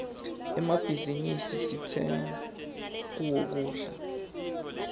emmabhizinisi sitsenga kuwo kudla